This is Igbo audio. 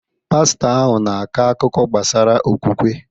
Pastọ ahụ na-akọ akụkọ gbasara okwukwe.